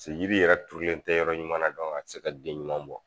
Paseke yiri yɛrɛ turulen tɛ yɔrɔ ɲuman a tɛ se ka den ɲuman bɔ.